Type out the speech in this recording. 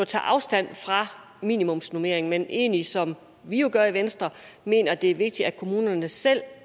tager afstand fra minimumsnormering men egentlig som vi jo gør i venstre mener at det er vigtigt at kommunerne selv